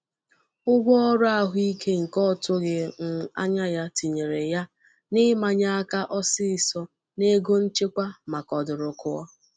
Ụgwọ ọrụ ahụike nke otughi um anya ya tinyere ya n'imanye aka ọsịsọ n'ego nchekwa maka ọdụrụkụọ.